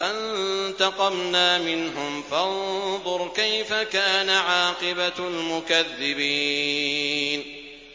فَانتَقَمْنَا مِنْهُمْ ۖ فَانظُرْ كَيْفَ كَانَ عَاقِبَةُ الْمُكَذِّبِينَ